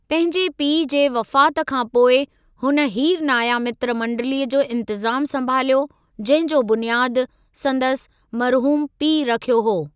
पंहिंजे पीउ जे वफ़ात खां पोइ हुन हीरनाया मित्र मंडिलीअ जो इंतिज़ामु संभालियो जंहिं जो बुनियादु संदसि मरहूमु पीउ रखियो हो।